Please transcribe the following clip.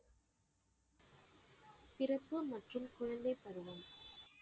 பிறப்பு மற்றும் குழந்தை பருவம்.